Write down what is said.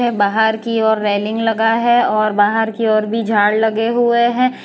बाहर की और रेलिंग लगा है और बाहर की ओर भी झाड़ लगे हुए हैं।